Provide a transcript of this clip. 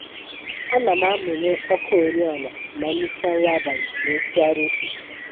Ana m amụnye ọkụ oriọna ma m richa nri abalị wee tụgharịa uche